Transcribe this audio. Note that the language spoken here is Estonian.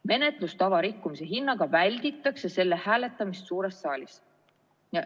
Menetlustava rikkumise hinnaga välditakse selle hääletamist suures saalis.